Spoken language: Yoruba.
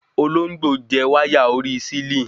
Olóńgbò jẹ wáyà orí sílìn